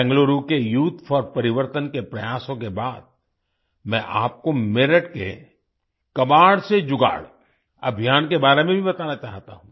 बेंगलुरु के youth for Parivartan के प्रयासों के बादमैं आपको मेरठ के कबाड़ से जुगाड़ अभियान के बारे में भी बताना चाहता हूँ